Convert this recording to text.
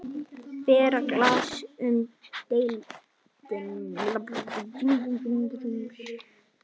Bera glas mun delinn.